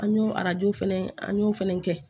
An y'o arajo fɛnɛ an y'o fɛnɛ kɛ